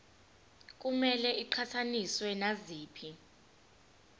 kumele iqhathaniswe naziphi